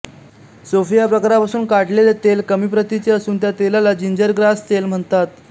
Sofia प्रकारापासून काढलेले तेल कमी प्रतीचे असून त्या तेलाला जिंजरग्रास तेल म्हणतात